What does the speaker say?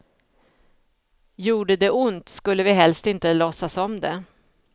Gjorde det ont skulle vi helst inte låtsas om det.